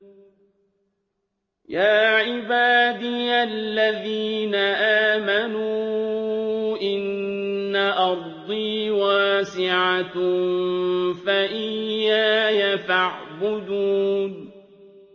يَا عِبَادِيَ الَّذِينَ آمَنُوا إِنَّ أَرْضِي وَاسِعَةٌ فَإِيَّايَ فَاعْبُدُونِ